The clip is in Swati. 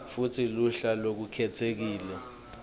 futsi luhla lolukhetsekile